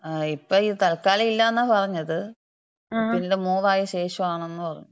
ങാ, ഇപ്പം തൽക്കാലം ഇല്ലെന്നാ പറഞ്ഞത്. പിന്ന മൂവായതിന് ശേഷാണെന്ന് പറഞ്ഞു.